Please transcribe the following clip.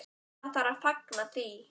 Það þarf að fagna því.